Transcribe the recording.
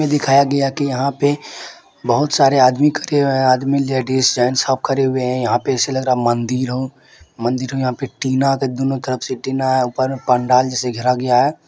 दिखाया गया है कि यंहा पे बहुत सारे आदमी खड़े हुए है आदमी लेडिस जेंट्स सब खड़े हुए है यहां पे ऐसे लग रहा है मंदिर हो मंदिर हो मंदिर हो यहां पे टीना के दूनू तरफ से ऊपर में पंडाल जैसे घेरा गया है।